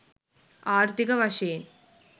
ආර්ථීක වශයෙන්